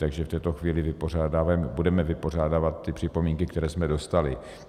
Takže v této chvíli budeme vypořádávat ty připomínky, které jsme dostali.